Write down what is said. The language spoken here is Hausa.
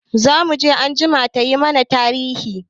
Zamuje anjima yayi mana tarihi.